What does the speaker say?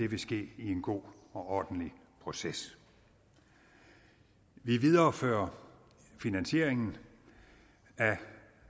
vil ske i en god og ordentlig proces vi viderefører finansieringen af